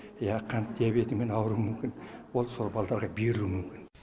я қант диабетімен ауруы мүмкін ол сол балдарға берілуі мүмкін